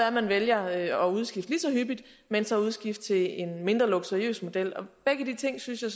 at man vælger at udskifte lige så hyppigt men så udskifte til en mindre luksuriøs model begge de ting synes jeg